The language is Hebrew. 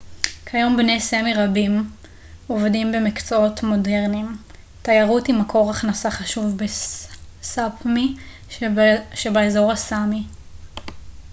כיום בני סאמי רבים עובדים במקצועות מודרניים תיירות היא מקור הכנסה חשוב בסאפמי שבאזור הסאמי